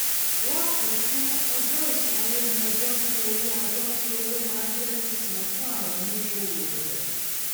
lákòótán ọjọ ìṣanwó ni ọjọ tí owó ọjọ tí owó maa ń jẹ sísan fún àwọn òníṣòwò ọjà